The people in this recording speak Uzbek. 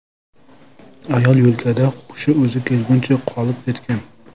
Ayol yo‘lkada hushi o‘ziga kelguncha qolib ketgan.